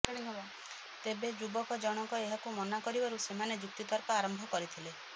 ତେବେ ଯୁବକ ଜଣଙ୍କ ଏହାକୁ ମନା କରିବାରୁ ସେମାନେ ଯୁକ୍ତିତର୍କ ଆରମ୍ଭ କରିଥିଲେ